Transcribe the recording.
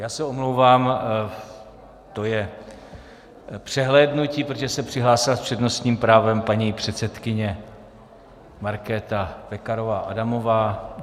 Já se omlouvám, to je přehlédnutí, protože se přihlásila s přednostním právem paní předsedkyně Markéta Pekarová Adamová.